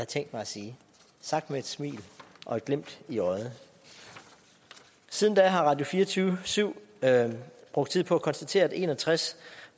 tænkt mig at sige sagt med et smil og et glimt i øjet siden da har radio24syv brugt tid på at konstatere at en og tres